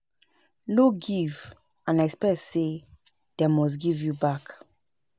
No give and expect say dem must give you back